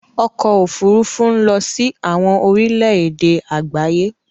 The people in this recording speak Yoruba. Ọkọ̀ òfurufú ń lọ sí àwọn orílẹ èdè àgbáyé.